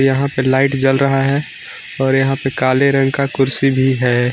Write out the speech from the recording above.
यहां पे लाइट जल रहा है और यहां पे काले रंग का कुर्सी भी है।